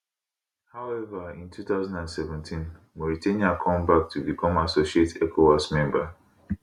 however in 2017 mauritania come back to become associate ecowas member